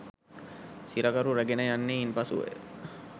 සිරකරු රැගෙන යන්නේ ඉන් පසුවය.